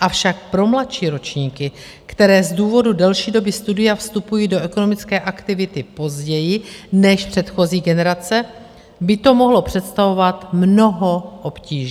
avšak pro mladší ročníky, které z důvodu delší doby studia vstupují do ekonomické aktivity později než předchozí generace, by to mohlo představovat mnoho obtíží.